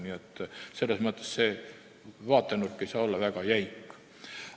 Nii et see vaatenurk ei saa olla väga jäik.